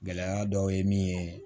Gɛlɛya dɔw ye min ye